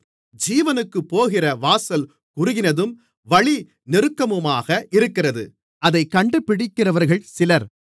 ஜீவனுக்குப்போகிற வாசல் குறுகினதும் வழி நெருக்கமுமாக இருக்கிறது அதைக் கண்டுபிடிக்கிறவர்கள் சிலர்